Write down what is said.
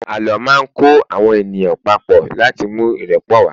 àlọ ma n kọ àwọn ènìyàn papo lati mú irepo wa